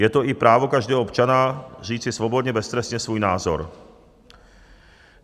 Je to i právo každého občana říci svobodně, beztrestně svůj názor.